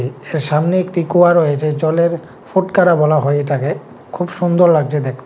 সামনে একটি কুয়া রয়েছে জলের ফুটকারা বলা হয় এটাকে খুব সুন্দর লাগছে দেখ--